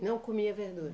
Não comia verdura?